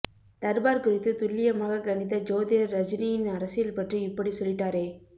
தர்பார் குறித்து துல்லியமாக கணித்த ஜோதிடர் ரஜினியின் அரசியல் பற்றி இப்படி சொல்லிட்டாரே